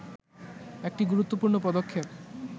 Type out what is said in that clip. একটি গুরুত্বপূর্ণ পদক্ষেপ